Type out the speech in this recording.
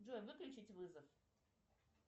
джой выключить вызов